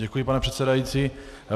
Děkuji, pane předsedající.